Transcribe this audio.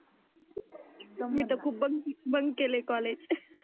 मी तर खुप bunk bunk केले कॉलेज.